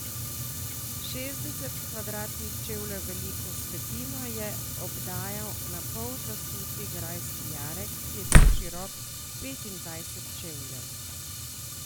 Šestdeset kvadratnih čevljev veliko vzpetino je obdajal napol zasuti grajski jarek, ki je bil širok petindvajset čevljev.